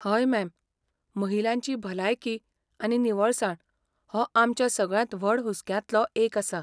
हय, मॅम, महिलांची भलायकी आनी निवळसाण हो आमच्या सगळ्यांत व्हड हुसक्यांतलो एक आसा.